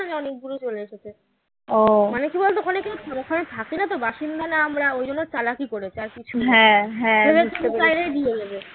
নয় অনেকদুরে চলে এসেছে মানে কী বলতো ওখানে থাকি না তো বাসিন্দা না আমরা ওই জন্য চালাকি করেছে আর কিছু না